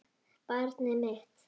Barnið mitt.